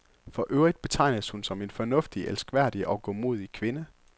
For øvrigt betegnes hun som en fornuftig, elskværdig og godmodig kvinde.